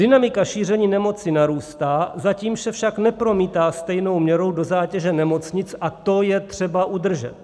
Dynamika šíření nemoci narůstá, zatím se však nepromítá stejnou měrou do zátěže nemocnic a to je třeba udržet.